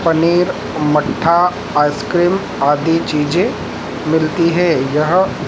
पनीर मट्ठा आइसक्रीम आदि चीजें मिलती है यहां--